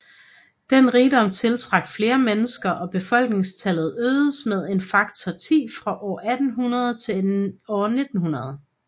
Den rigdom tiltrak flere mennesker og befolkningstallet øgedes med en faktor 10 fra år 1800 til år 1900